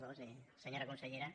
nyora consellera